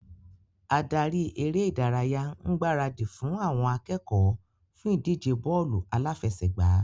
Adarí eré ìdárayá ń gbaradì fún àwọn akẹ́kọ̀ọ́ fún ìdíje bọ́ọ́lù aláfẹsẹ̀gbá.